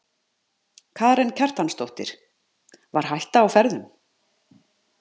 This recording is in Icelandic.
Karen Kjartansdóttir: Var hætta á ferðum?